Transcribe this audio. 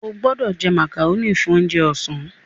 O gbódò jé macaroni fún oúnjẹ ọsán!